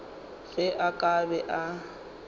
ge a ka be a